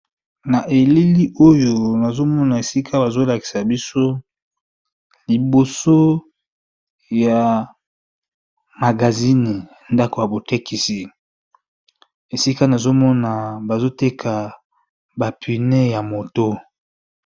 Na elili nazomona esika bazolakisa biso liboso ya ndako ya botekisi esika nazomona bazoteka ba pneu ya moto.